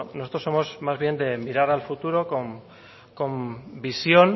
bueno nosotros somos más bien de mirar al futuro con visión